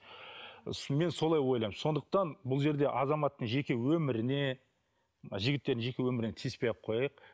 мен солай ойлаймын сондықтан бұл жерде азаматтың жеке өміріне жігіттердің жеке өміріне тиіспей ақ қояйық